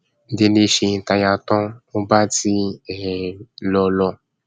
délé ṣe táyà tán ò bá tiẹ um lọ lọ